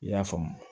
I y'a faamu